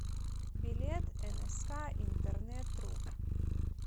билет энэска интернетру